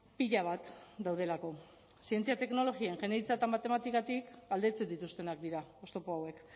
pila bat daudelako zientzia teknologia ingeniaritza eta matematikatik aldentzen dituztenak dira oztopo hauek